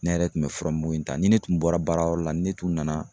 Ne yɛrɛ kun be fura muku in ta ni ne tun bɔra baara yɔrɔ la ni ne tun nana